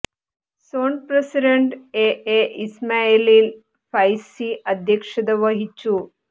zone president A A Ismail Faizy അധ്യക്ഷത വഹിച്ചു